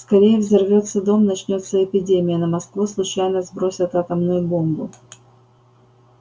скорее взорвётся дом начнётся эпидемия на москву случайно сбросят атомную бомбу